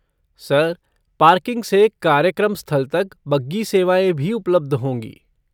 Sir, parking से कार्यक्रम स्थल तक बग्गी सेवाएँ भी उपलब्ध होंगी।